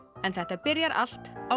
en þetta byrjar allt á